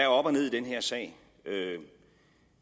op og ned i den her sag